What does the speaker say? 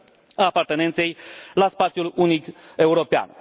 a apartenenței la spațiul unic european.